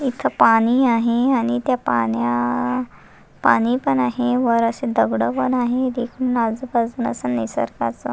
इथे पाणी आहे आणि त्या पाण्या पाणी पण आहे वर अशी दगड पण आहे एक निसर्गाच--